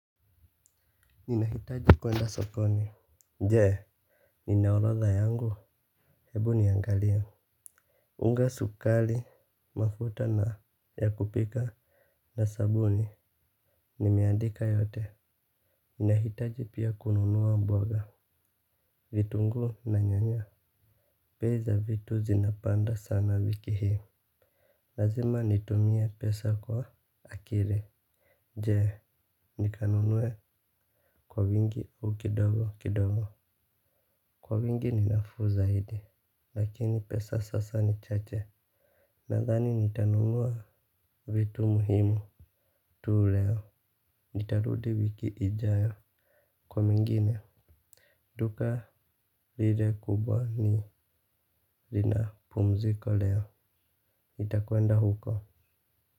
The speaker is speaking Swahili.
Ninahitaji kuenda sokoni. Jee nina orodha yangu. Hebu niangalie unga sukari mafuta na ya kupika. Na sabuni nimeandika yote. Ninahitaji pia kununua mboga. Vitunguu na nyanya bei za vitu zinapanda sana wiki hii. Lazima nitumie pesa kwa akiri. Jee nikanunuwe kwa wingi au kidogo kidogo. Kwa wingi ninafuu zaidi. Lakini pesa sasa ni chache. Nadhani nitanunua vitu muhimu tu leo. Nitarudi wiki ijayo kwa mengine. Duka lile kubwa lina pumziko leo nitakwenda huko.